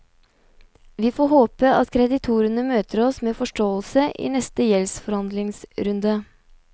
Vi får håpe at kreditorene møter oss med forståelse i neste gjeldsforhandlingsrunde.